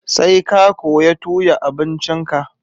Sai ka koya tuya abincin ka